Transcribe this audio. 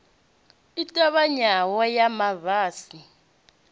i ṱavhanyaho ya ma basi